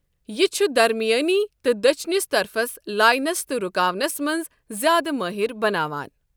یہِ چھُ درمیٲنی تہٕ دٔچِھنِس طرفَس لاینَس تہٕ رُکاونَس منٛز زِیٛادٕ مٲہِر بناوان۔